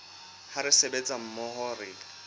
ha re sebetsa mmoho re